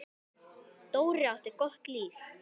Dóri átti gott líf.